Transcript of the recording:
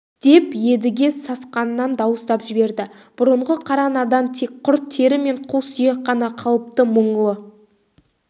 деп едіге сасқанынан дауыстап жіберді бұрынғы қаранардан тек құр тері мен қу сүйек қана қалыпты мұңлы